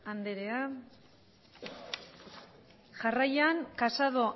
andrea jarraian casado